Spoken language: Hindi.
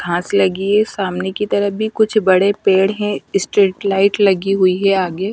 घास लगी है सामने की तरफ भी कुछ बड़े पेड़ हैं स्टेट लाइट लगी हुई हैं आगे।